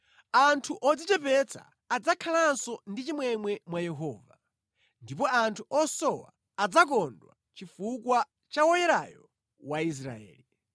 Anthu odzichepetsa adzakhalanso ndi chimwemwe mwa Yehova; ndipo anthu osowa adzakondwa chifukwa cha Woyerayo wa Israeli.